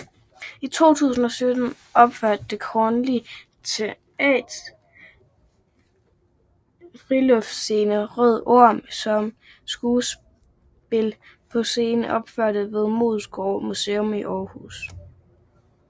I 2017 opførte Det Kongelige Teaters friluftsscene Røde Orm som skuespil på en scene opført ved Moesgaard Museum i Aarhus